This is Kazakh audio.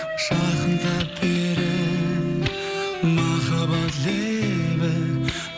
жақындап бері махаббат лебі